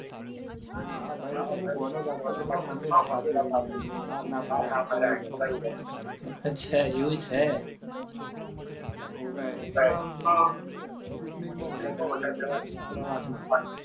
અચ્છા એવું છે